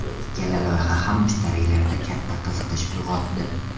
Ikkala loyiha ham mushtariylarda katta qiziqish uyg‘otdi.